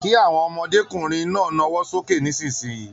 Kí àwọn ọmọdékunrin náà nawọ sókè nisinyi!